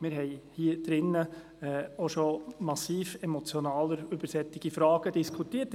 Wir haben hier auch schon massiv emotionaler über solche Fragen diskutiert.